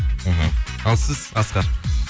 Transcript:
мхм ал сіз асқар